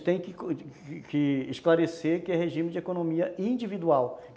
A gente tem que esclarecer que é regime de economia individual.